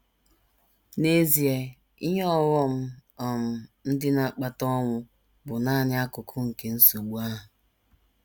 N’EZIE, ihe ọghọm um ndị na - akpata ọnwụ bụ nanị akụkụ nke nsogbu ahụ.